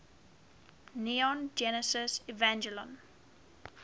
neon genesis evangelion